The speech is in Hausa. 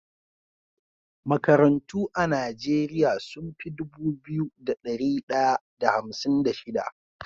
Makarantu a nigeria sunfi Dubu biyu da dari daya da hamsin da shida